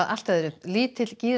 lítill